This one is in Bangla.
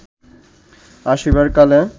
আসিবার কালে